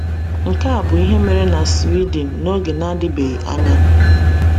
Nke a bụ ihe mere na Sweden n’oge na-adịbeghị anya.